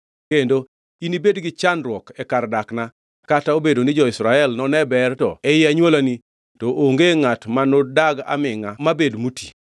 Kendo inibed gi chandruok e kar dakna kata obedo ni jo-Israel none ber to ei anywolani to onge ngʼat manodag amingʼa mabed moti.